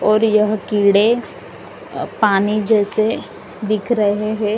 और यह कीड़े पानी जैसे दिख रहे हैं।